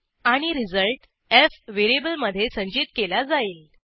आणि result F व्हेरिएबलमधे संचित केला जाईल